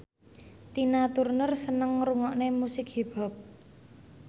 Tina Turner seneng ngrungokne musik hip hop